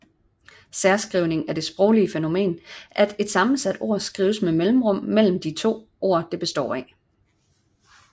Særskrivning er det sproglige fænomen at et sammensat ord skrives med mellemrum mellem de ord det består af